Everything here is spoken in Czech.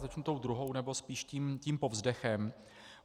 Začnu tou druhou, nebo spíš tím povzdechem.